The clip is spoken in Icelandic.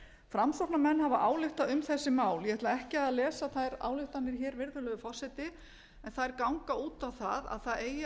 framsóknarmenn hafa ályktað um þessi mál ég ætla ekki að lesa þær ályktanir hér virðulegur forseti en þær ganga út á það að það eigi